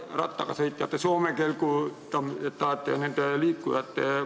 Rattaga sõitjaid, Soome kelguga liikujaid jne tuleks toetada ...